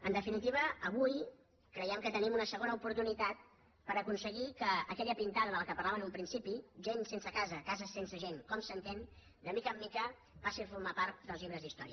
en definitiva avui creiem que tenim una segona oportunitat per aconseguir que aquella pintada de què parlava en un principi gent sense casa cases sense gent com s’entén de mica en mica passi a formar part dels llibres d’història